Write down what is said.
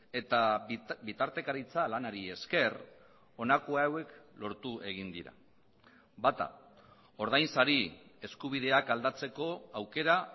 eta bitartekaritza lanari esker honako hauek lortu egin dira bata ordainsari eskubideak aldatzeko aukera